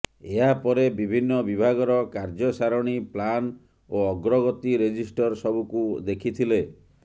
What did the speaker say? ଏହାପରେ ବିଭିନ୍ନ ବିଭାଗର କାର୍ଯ୍ୟସାରଣି ପ୍ଲାନ ଓ ଅଗ୍ରଗତି ରେଜିଷ୍ଟର ସବୁକୁ ଦେଖିଥିଲେ